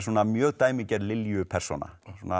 mjög dæmigerð Lilju persóna